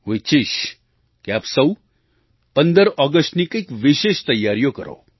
હું ઈચ્છીશ કે આપ સહુ 15 ઑગસ્ટની કંઈક વિશેષ તૈયારીઓ કરો